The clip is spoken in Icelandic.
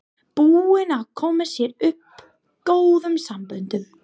Búinn að koma sér upp góðum samböndum.